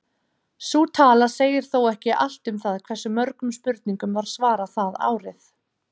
Sú tala segir þó ekki allt um það hversu mörgum spurningum var svarað það árið.